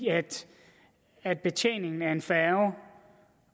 at betjeningen af en færge